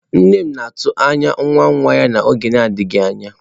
Nne m na-atụ anya nwa nwa ya n'oge adịghị anya.